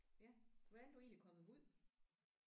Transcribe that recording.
Ja. Hvordan er du egentlig kommet herud?